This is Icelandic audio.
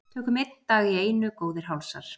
Tökum einn dag í einu góðir hálsar.